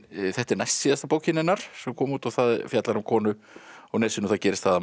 þetta er næstsíðasta bókin hennar sem kom út og fjallar um konu og það gerist að